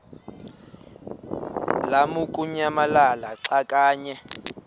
lamukunyamalala xa kanye